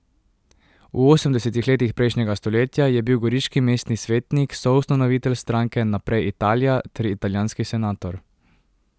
V osemdesetih letih prejšnjega stoletja je bil goriški mestni svetnik, soustanovitelj stranke Naprej Italija ter italijanski senator.